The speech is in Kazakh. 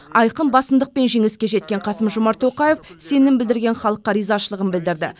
айқын басымдықпен жеңіске жеткен қасым жомарт тоқаев сенім білдірген халыққа ризашылығын білдірді